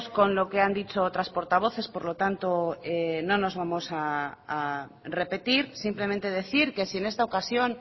con lo que han dicho otras portavoces por lo tanto no nos vamos a repetir simplemente decir que si en esta ocasión